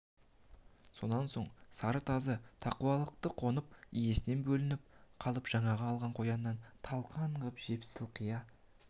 сонан соң сары тазы тақуалықты қонып иесінен бөлініп қалып жаңағы алған қоянын талқан қып жеп сылқия